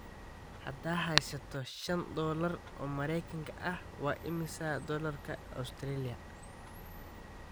haddaan haysto shan dollar oo mareykan ah waa imisa doolarka Australia